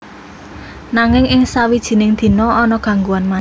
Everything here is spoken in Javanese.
Nanging ing sawijining dina ana gangguan manèh